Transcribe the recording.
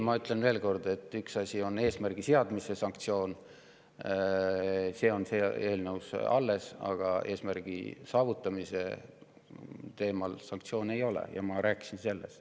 Ma ütlen veel kord, et üks asi on eesmärgi seadmisega seotud sanktsioon, see on eelnõus alles, aga eesmärgi saavutamise korral sanktsioone ei ole, ja sellest ma rääkisin.